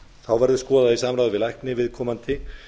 þá verður skoðað í samráði við lækni viðkomandi